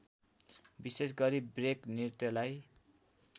विशेष गरी ब्रेक नृत्यलाई